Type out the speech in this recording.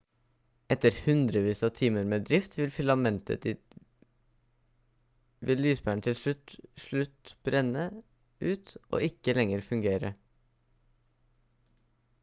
etter hundrevis av timer med drift av filamentet vil lyspæren til slutt brenne ut og ikke lenger fungere